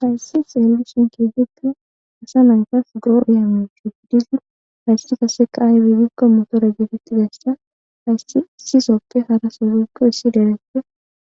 Hays xelishn kehipe asa go'izaysa motore getetizaysa issisoppe haraso woyko issi derepe